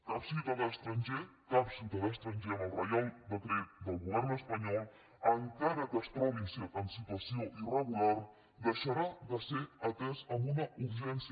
cap ciutadà estranger cap ciutadà estranger amb el reial decret del govern espanyol encara que es trobi en situació irregular deixarà de ser atès en una urgència